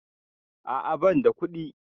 A'a banda kuɗi